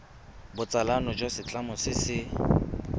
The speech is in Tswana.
botsalano jwa setlamo se se